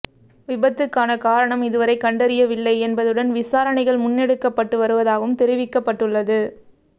விபத்துக்கான காரணம் இதுவரை கண்டறியவில்லை என்பதுடன் விசாரணைகள் முன்னெடுக்கப்பட்டு வருவதாகவும் தெரிவிக்கப்பட்டுள்ளது